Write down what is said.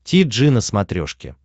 ти джи на смотрешке